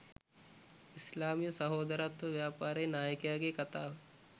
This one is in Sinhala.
ඉස්ලාමීය සහෝදරත්ව ව්‍යාපාරයේ නායකයාගේ කථාව